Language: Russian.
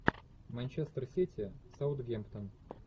манчестер сити саутгемптон